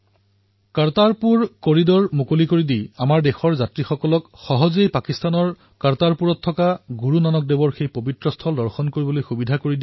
এই সিদ্ধান্ত অনুসৰি কৰতাৰপুৰ কৰিডৰ নিৰ্মাণৰ জৰিয়তে আমাৰ দেশৰ তীৰ্থযাত্ৰীসকলে সহজেই পাকিস্তানৰ কৰতাৰপুৰত গুৰু নানক দেৱজীৰ সেই পবিত্ৰস্থল দৰ্শন কৰিব পাৰিব